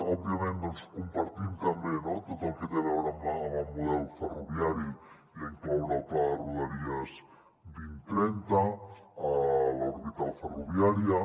òbviament compartim també no tot el que té a veure amb el model ferroviari i incloure el pla de rodalies dos mil trenta l’orbital ferroviària